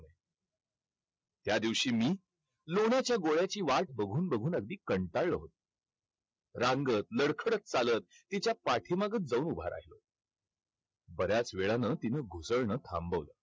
त्यादिवशी मी लोण्याच्या गोळ्याची वाट बघून बघून अगदी कंटाळलो होतो. रांगत, लडखडत चालत तिच्या पाठीमागं जाऊन उभा राहिलो. बऱ्याच वेळानं तिनं घुसळणं थांबवलं.